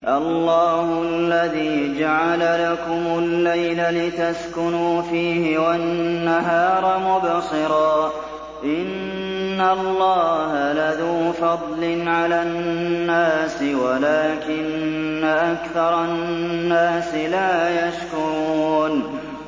اللَّهُ الَّذِي جَعَلَ لَكُمُ اللَّيْلَ لِتَسْكُنُوا فِيهِ وَالنَّهَارَ مُبْصِرًا ۚ إِنَّ اللَّهَ لَذُو فَضْلٍ عَلَى النَّاسِ وَلَٰكِنَّ أَكْثَرَ النَّاسِ لَا يَشْكُرُونَ